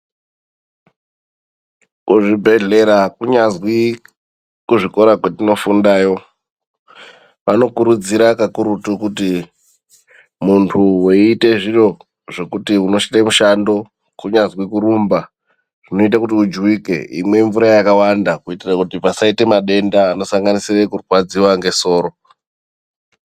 Kuzvibhedhlera kunyazwi kuzvikora kwetinofundayo, anokurudzira kakurutu kuti muntu weeite zviro zvekuti unosvike mushando kunyazwi kurumba zvinoita kuti ujuwike imwe mvura yakawanda kuitire kuti pasaita madenda akawanda anosanganisire kurwadziwa ngesoro.